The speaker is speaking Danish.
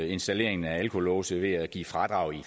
installeringen af alkolåse ved at give fradrag i